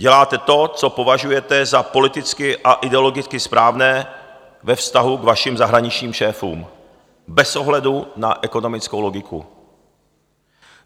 Děláte to, co považujete za politicky a ideologicky správné ve vztahu k vašim zahraničním šéfům bez ohledu na ekonomickou logiku.